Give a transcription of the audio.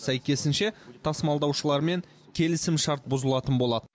сәйкесінше тасымалдаушылармен келісімшарт бұзылатын болады